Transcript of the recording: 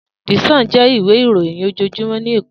Di Sòn jè iwé iróyin ójójúmò ni Ékó